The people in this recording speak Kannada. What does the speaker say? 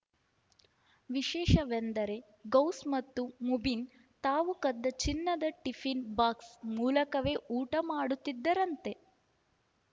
ವಿಶೇಷವೆಂದರೆ ಗೌಸ್‌ ಮತ್ತು ಮುಬೀನ್‌ ತಾವು ಕದ್ದ ಚಿನ್ನದ ಟಿಫಿನ್‌ ಬಾಕ್ಸ್‌ ಮೂಲಕವೇ ಊಟ ಮಾಡುತ್ತಿದ್ದರಂತೆ